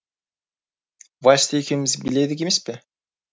вальсты екеуіміз биледік емес пе